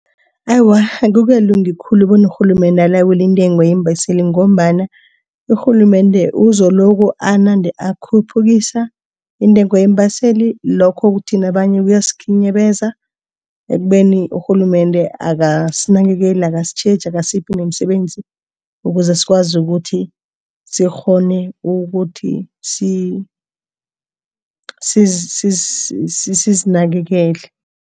Awa, akukalungi khulu bona urhulumende alawule intengo yeembaseli ngombana urhulumende uzoloko anande akhuphukisa intengo yeembaseli lokho kuthi nabanye kuyasikhinyabeza ekubeni urhulumende akasinakekeli akasitjheje akasiphi nomsebenzi ukuze sikwazi ukuthi sikghone ukuthi sisizinakekele.